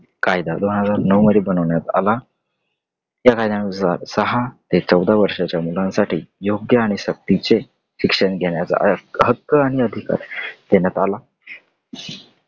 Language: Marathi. कायदा दोन हजार नऊ मध्ये बनवण्यात आला. या कायद्यानुसार सहा ते चौदा वर्षाच्या मुलांसाठी योग्य आणि सक्तीचे शिक्षण देण्याचा हक्क आणि अधिकार देण्यात आला .